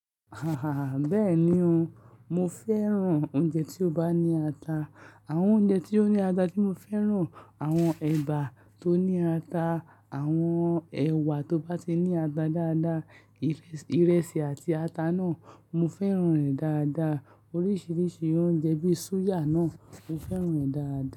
Aha, bẹ́ẹ̀ni o, mo fẹ́ràn oúnjẹ tí ó bá ní ata. Àwọn oúnjẹ tí ó ní ata tí mo fẹ́ràn, àwọn ẹ̀bà tó ní ata, àwọn ẹ̀wà tó bá ti ní ata dáadáa, ìrẹsì àti ata náà mo fẹ́ràn rẹ̀ dáadáa, oríṣiríṣi oúnjẹ bíi súyà náà mo fẹ́ràn rẹ̀ dáadáa.